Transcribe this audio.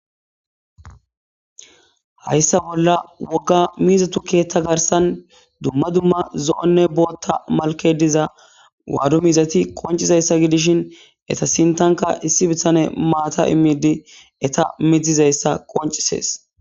Hayssa bolla wogga miizatu keetha garsan dumma dumma zo7onne booththa malke diza waadu miizati qoncizayssa gidishin eta sinthanka issi bitsane maata immidi eta midzizayssa qoncisees.